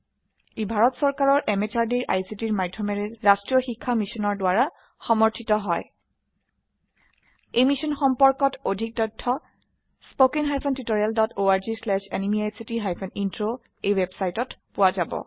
ই ভাৰত চৰকাৰৰ MHRDৰ ICTৰ মাধয়মেৰে ৰাস্ত্ৰীয় শিক্ষা মিছনৰ দ্ৱাৰা সমৰ্থিত হয় এই মিশ্যন সম্পৰ্কত অধিক তথ্য spoken hyphen tutorial dot org slash এনএমইআইচিত হাইফেন ইন্ট্ৰ ৱেবচাইটত পোৱা যাব